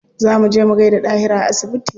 Za mu je mu gaida Dahiru a asibiti.